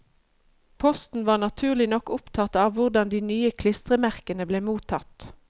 Posten var naturlig nok opptatt av hvordan de nye klistremerkene ble mottatt.